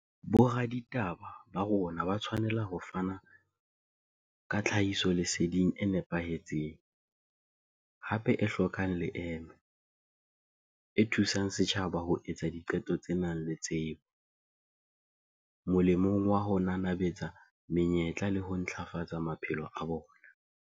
Boraditaba ba rona ba tshwanela ho fana ka tlhahisoleseding e nepahetseng, hape e hlokang leeme, e thu sang setjhaba ho etsa diqeto tse nang le tsebo, molemong wa ho nanabetsa menyetla le ho ntlafatsa maphelo a bona.